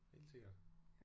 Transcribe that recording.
Helt sikkert